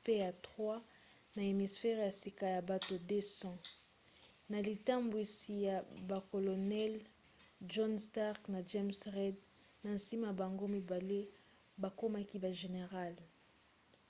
mpe ya 3 na hampshire ya sika ya bato 200 na litambwisi ya bacolonels john stark na james reed na nsima bango mibale bakomaki bagénéral